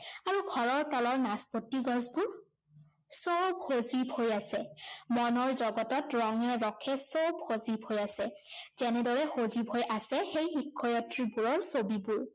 আৰু ঘৰৰ তলৰ নাচপতি গছবোৰ সৱ সজীৱ হৈ আছে। মনৰ জগতত ৰঙে ৰসে সৱ সজীৱ হৈ আছে, যেনেদৰে সজীৱ হৈ আছে সেই শিক্ষয়িত্ৰীবোৰৰ ছবিবোৰ